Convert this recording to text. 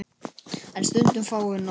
En stundum fáum við nóg.